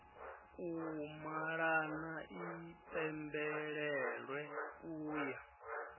u malana i pembelelwe uya